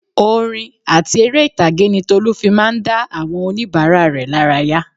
Orin àti èrè ìtàgé ni Tolu fi máa ń dá àwọn onibara rẹ lára yà